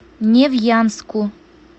невьянску